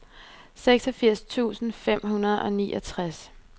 seksogfirs tusind fem hundrede og niogtres